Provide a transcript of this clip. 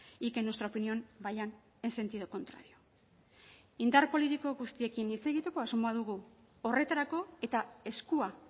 y que en nuestra opinión vayan en sentido contrario indar politiko guztiekin hitz egiteko asmoa dugu horretarako eta eskua